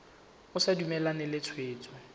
o sa dumalane le tshwetso